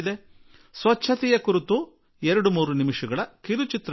ಅದು ನೀವು ಎರಡು ನಿಮಿಷ ಮೂರು ನಿಮಿಷಗಳ ಸ್ವಚ್ಛತೆ ಕುರಿತ ಚಿತ್ರ ನಿರ್ಮಿಸಿ